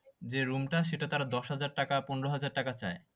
যে room টা সেটা তারা দশ হাজার টাকা পনেরো হাজার টাকা চায়